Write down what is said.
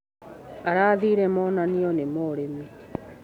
Arathire monanioinĩ ma ũrĩmi.